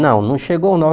Não, não chegou